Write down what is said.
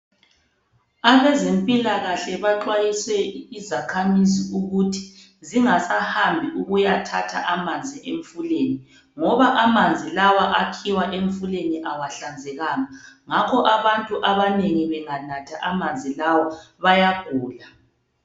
Abezempilakahle baxwayise izakhamizi ukuthi zingasahambi ukuyathatha amanzi emfuleni ngoba, amanzi lawa akhiwa emfuleni awahlanzekanga ngakho abantu abanengi benganatha amanzi lawa bayagula.